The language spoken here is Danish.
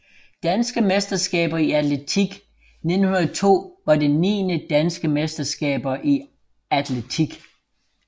Danske mesterskaber i atletik 1902 var det niende Danske mesterskaber i atletik